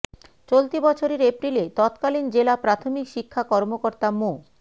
চলতি বছরের এপ্রিলে তৎকালীন জেলা প্রাথমিক শিক্ষা কর্মকর্তা মো